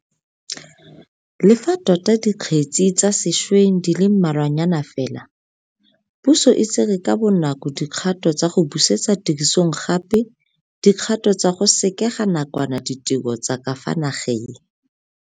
Le fa tota dikgetse tsa sešweng di le mmalwanyana fela, puso e tsere ka bonako dikgato tsa go busetsa tirisong gape di kgato tsa go sekega nakwana ditiro tsa ka fa nageng.